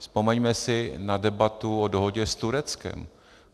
Vzpomeňme si na debatu o dohodě s Tureckem.